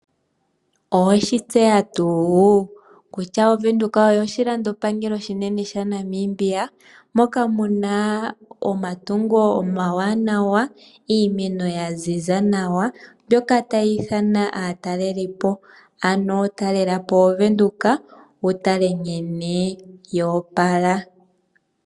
Oweshitseya tuu kutya oWindhoek oyo oshilando pangelo oshinene shaNamibia mokamuna omatungo omawanawa iimeno yaziza nawa mbyoka tayiithana aatalelipo ano talelapo oWindhoek wutale nkene yoopala.